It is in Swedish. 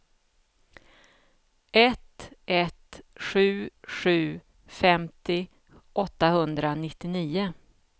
ett ett sju sju femtio åttahundranittionio